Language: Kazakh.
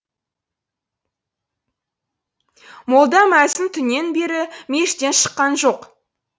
молда мәзін түннен бері мешіттен шыққан жоқ